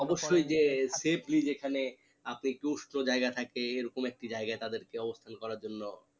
অবশ্যয় যে safely যেখানে আপনি একটু উষ্ণ জায়গায় থাকে এরকম একটু জায়গা তাদের কে অবস্থান করার জন্য